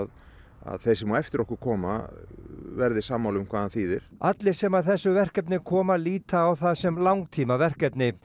að þeir sem á eftir okkur koma verði sammála um hvað hann þýðir allir sem að þessu verkefni koma líti á það sem langtímaverkefni